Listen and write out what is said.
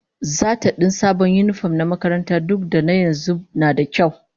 Zata din sabon yinifom na makaranta duk da na yanzu nada kyau